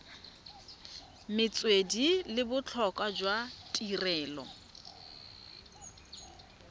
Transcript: metswedi le botlhokwa jwa tirelo